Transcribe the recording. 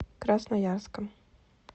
красноярском